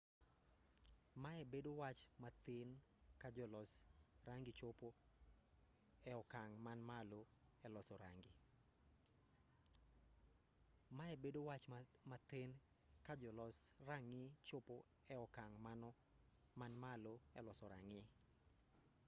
mae bedo wach mathin ka jolos rang'i chopo e okang' man malo eloso rang'i